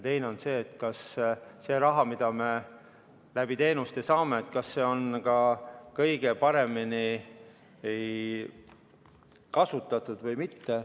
Teine on see, kas see raha, mida me läbi teenuste saame, on ka kõige paremini kasutatud või mitte.